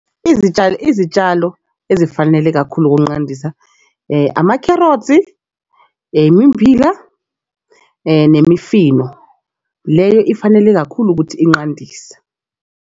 Izitshalo, izitshalo ezifanele kakhulu ukuqandisa amakherothi, imimmbila nemifino leyo ifanele kakhulu ukuthi inqandise.